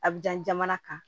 A bi jan kan